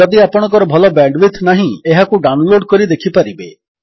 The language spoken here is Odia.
ଯଦି ଆପଣଙ୍କର ଭଲ ବ୍ୟାଣ୍ଡୱିଡଥ୍ ନାହିଁ ଏହାକୁ ଡାଉନଲୋଡ୍ କରି ଦେଖିପାରିବେ